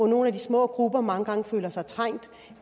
nogle af de små grupper mange gange føler sig trængt